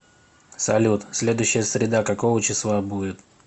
салют следующая среда какого числа будет